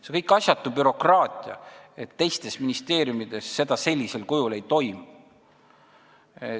See kõik on asjatu bürokraatia, mida teistes ministeeriumides sellisel kujul ei toimu.